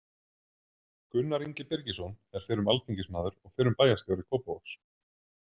Gunnar Ingi Birgisson er fyrrum alþingismaður og fyrrum bæjarstjóri Kópavogs.